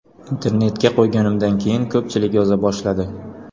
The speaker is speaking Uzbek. Internetga qo‘yganimda keyin ko‘pchilik yoza boshladi.